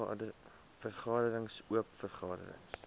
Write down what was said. vergaderings oop vergaderings